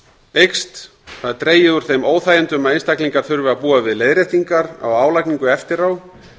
eykst og dregið er úr þeim óþægindum að einstaklingar þurfi að búa við leiðréttingar á álagningu eftir á